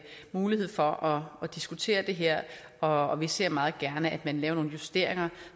mulighed for at diskutere det her og vi ser meget gerne at man laver nogle justeringer